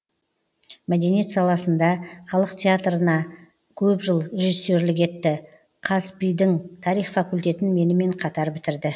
мәдениет саласында халық театрына көп жыл режиссерлік етті қазпи дың тарих факультетін менімен қатар бітірді